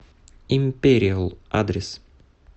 империал адрес